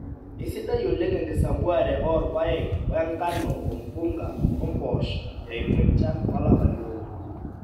Eisidai oleng enkisampuare oo irpayek, o nkano, ompunga o mpoosho, eimu enchan olapa liong`uan.